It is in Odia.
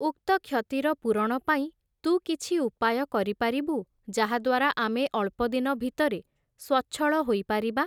ଉକ୍ତ କ୍ଷତିର ପୂରଣ ପାଇଁ, ତୁ କିଛି ଉପାୟ କରିପାରିବୁ, ଯାହାଦ୍ୱାରା ଆମେ ଅଳ୍ପଦିନ ଭିତରେ, ସ୍ଵଚ୍ଛଳ ହୋଇପାରିବା ।